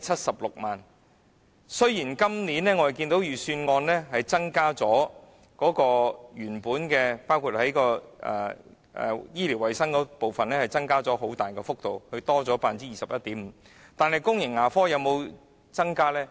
雖然今年預算案在原本醫療衞生部分的撥款增幅很大，達 21.5%， 但公共牙科部分有沒有增加呢？